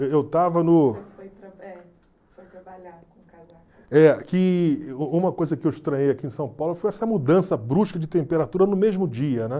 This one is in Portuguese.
Eu eu estava no... É, u uma coisa que eu estranhei aqui em São Paulo foi essa mudança brusca de temperatura no mesmo dia, né?